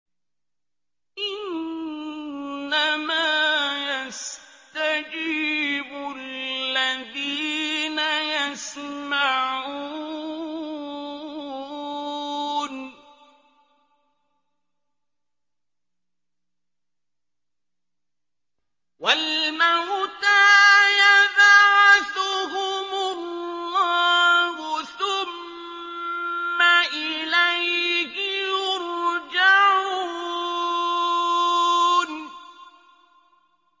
۞ إِنَّمَا يَسْتَجِيبُ الَّذِينَ يَسْمَعُونَ ۘ وَالْمَوْتَىٰ يَبْعَثُهُمُ اللَّهُ ثُمَّ إِلَيْهِ يُرْجَعُونَ